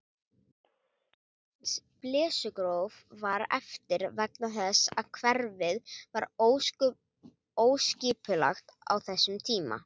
Aðeins Blesugróf var eftir vegna þess að hverfið var óskipulagt á þessum tíma.